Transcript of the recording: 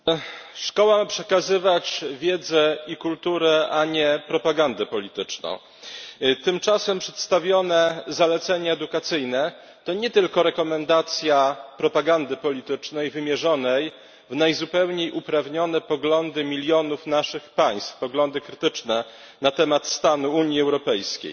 Panie Przewodniczący! Szkoła ma przekazywać wiedzę i kulturę, a nie propagandę polityczną. Tymczasem przedstawione zalecenie edukacyjne to nie tylko rekomendacja propagandy politycznej wymierzonej w najzupełniej uprawnione poglądy milionów naszych państw, poglądy krytyczne, na temat stanu Unii Europejskiej